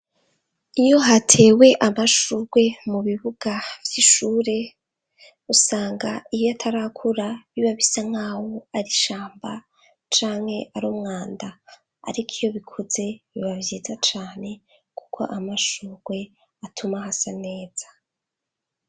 Iyo hatewe amashurwe mu bibuga vy'ishure, usanga iyo atarakura biba bisa nkawo ari ishamba canke arumwanda. Ariko iyo bikuze biba vyiza cane kuko amashurwe atuma hasa neza.